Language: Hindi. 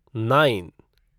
नाइन